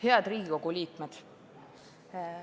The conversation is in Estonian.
Head Riigikogu liikmed!